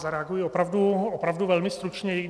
Zareaguji opravdu velmi stručně.